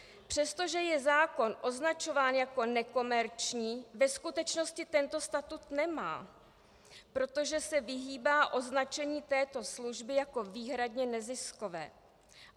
Přestože je zákon označován jako nekomerční, ve skutečnosti tento statut nemá, protože se vyhýbá označení této služby jako výhradně neziskové.